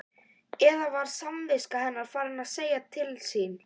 Eða var samviska hennar farin að segja til sín?